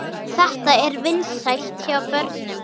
Þetta er vinsælt hjá börnum.